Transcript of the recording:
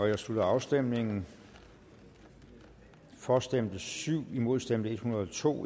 jeg slutter afstemningen for stemte syv imod stemte en hundrede og to